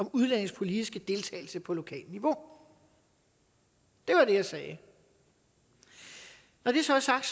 om udlændinges politiske deltagelse på lokalt niveau det var det jeg sagde når det så er sagt